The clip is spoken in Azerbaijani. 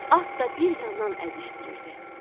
At da bir yandan əzişdirirdi.